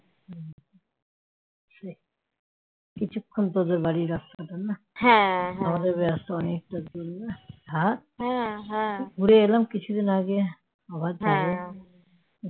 কিছুক্ষণ তোদের বাড়ি রাস্তাটা না ঘুরে এলাম কিছুদিন আগে আবার যাবো